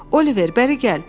Oliver bəri gəl!